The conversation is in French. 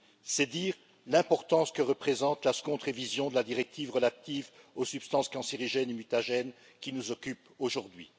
C'est dire l'importance que représente la seconde révision de la directive relative aux substances cancérigènes et mutagènes, qui nous occupe aujourd'hui.